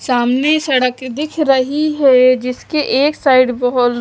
सामने सड़क दिख रही है जिसके एक साइड बहोत --